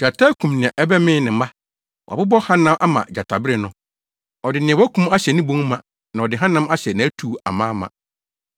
Gyata akum nea ɛbɛmee ne mma. Wabobɔ hanam ama gyatabere no. Ɔde nea wakum ahyɛ ne bon ma na ɔde hanam ahyɛ nʼatu amaama.